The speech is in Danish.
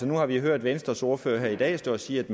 nu har vi hørt venstres ordfører i dag stå og sige at